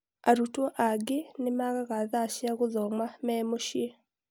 Arutwo angĩ nĩ maagaga thaa cia gũthoma memũciĩ.